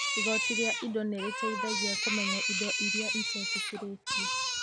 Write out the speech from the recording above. Igooti rĩa indo nĩ rĩteithagia kũmenya indo iria itetĩkĩrĩtio.